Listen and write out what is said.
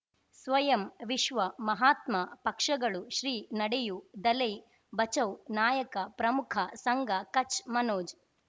ಸ್ವಯಂ ವಿಶ್ವ ಮಹಾತ್ಮ ಪಕ್ಷಗಳು ಶ್ರೀ ನಡೆಯೂ ದಲೈ ಬಚೌ ನಾಯಕ ಪ್ರಮುಖ ಸಂಘ ಕಚ್ ಮನೋಜ್